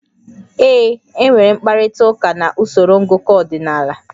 Ee. Enwere m mkparịta ụka na usoro ngụkọ ọdịnala